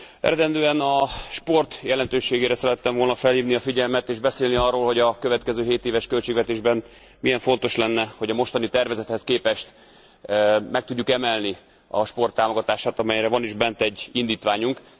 Eredendően a sport jelentőségére szerettem volna felhívni a figyelmet, és beszélni arról, hogy a következő hétéves költségvetésben milyen fontos lenne, hogy a mostani tervezethez képest meg tudjuk emelni a sport támogatását, amelyre van is bent egy indítványunk.